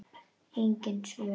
Engin svör.